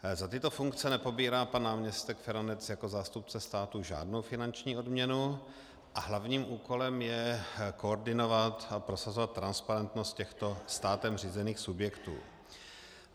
Za tyto funkce nepobírá pan náměstek Feranec jako zástupce státu žádnou finanční odměnu a hlavním úkolem je koordinovat a prosazovat transparentnost těchto státem řízených subjektů.